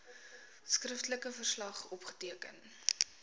skriftelike verslag opgeteken